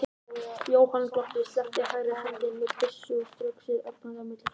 Jóhann glotti, sleppti hægri hendinni af byssunni og strauk sér ögrandi á milli fótanna.